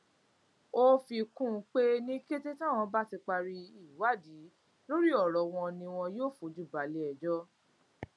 ó fi kún un pé ní kété táwọn bá ti parí ìwádìí lórí ọrọ wọn ni wọn yóò fojú balẹẹjọ